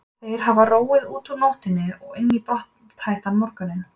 Þeir hafa róið út úr nóttinni og inn í brothættan morgun.